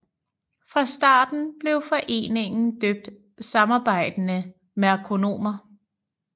Fra starten blev foreningen døbt Samarbejdende Merkonomer